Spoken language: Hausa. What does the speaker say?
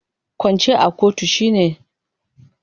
Kwance a gaban kotu shine rantsuwar ƙarya.